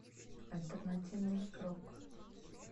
альтернативный рок